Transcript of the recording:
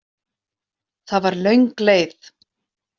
Það var löng leið.